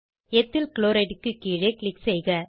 ethyl chloride கீழே click செய்க